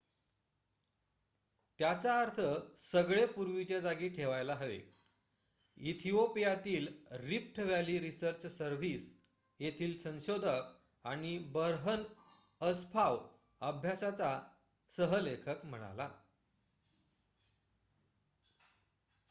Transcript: त्याचा अर्थ सगळे पूर्वीच्या जागी ठेवायला हवे इथिओपियातील रिफ्ट व्हॅली रिसर्च सर्व्हिस येथील संशोधक आणि बर्हन अस्फाव अभ्यासाचा सह लेखक म्हणाला